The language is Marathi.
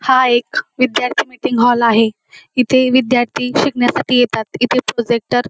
हा एक विद्यार्थी मीटिंग हॉल आहे इथे विद्यार्थी शिकण्यासाठी येतात इथे प्रोजेक्टर --